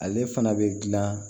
Ale fana bɛ dilan